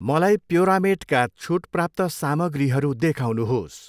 मलाई प्योरामेटका छुट प्राप्त सामग्रीहरू देखाउनुहोस्।